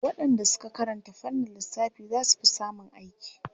Waɗanda suka karanta fannin lissafi za su fi samun aiki./